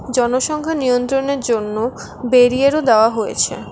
জনসংখ্যা নিয়ন্ত্রণের জন্য বেরিয়ারও দেওয়া হয়েছে।